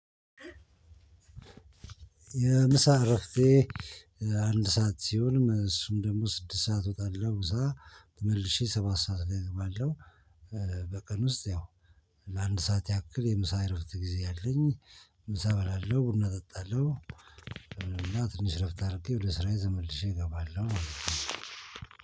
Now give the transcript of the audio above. የምሳ እረፍቴ አንድ ሰዓት ሲሆንም እሱም ደሞ ስድስት ሰዓት እወጣለው ምሳ ተመልሼ ሰባት ሰዓት ላይ እገባለው በቀን ውስጥ ያው ለአንድ ሰዓት ያክል የምሳ እረፍት ጊዜ አለኝ ምሳ እበላለው ቡና እጠጣለው እና ትንሽ እረፍት አርጌ ወደ ስራዬ ተመልሼ እገባለው ማለት ነው።